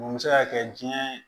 Mun bɛ se ka kɛ diɲɛ